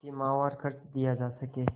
कि माहवार खर्च दिया जा सके